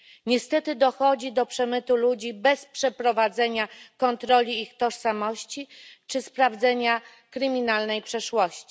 Niestety dochodzi do przemytu ludzi bez przeprowadzenia kontroli ich tożsamości czy sprawdzenia kryminalnej przeszłości.